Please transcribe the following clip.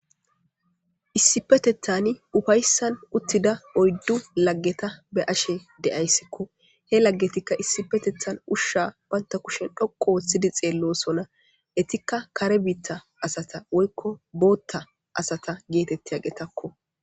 Issippeteththan ufayssan uttida oyddu laggeta be'ashe de'aysiko. He laggetikka ushsha banta kushen doqqu ooththi xeellosona. Etikka kare biita asata woykko bootta asata geetettiyagetakko.